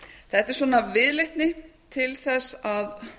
þetta er svona viðleitni til þess að